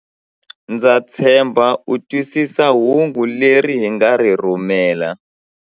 Ndza tshemba u twisisa hungu leri hi nga ri rhumela.